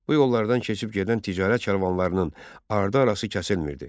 Bu yollardan keçib gedən ticarət karvanlarının ardı-arası kəsilmirdi.